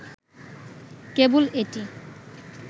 কেবল এটি